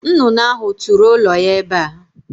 Nnụnụ ahụ tụrụ ụlọ ya ebe a.